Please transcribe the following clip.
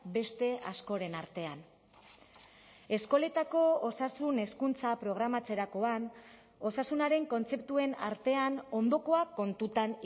beste askoren artean eskoletako osasun hezkuntza programatzerakoan osasunaren kontzeptuen artean ondokoa kontutan